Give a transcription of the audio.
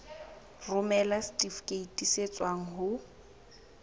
romela setifikeiti se tswang ho